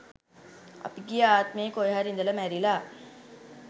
අපි ගිය ආත්මයේ කොහේ හරි ඉඳලා මැරිලා